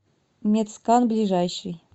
медскан ближайший